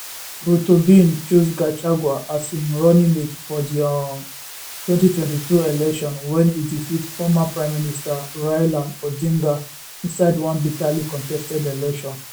ruto bin choose gachagua as im runningmate for di um 2022 election wen e defeat former prime minister raila odinga inside one bitterly contested election